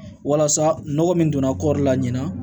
Walasa nɔgɔ min donna kɔɔri la ɲina